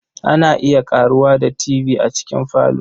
Ana iya ƙaruwa da Tv a cikin falo.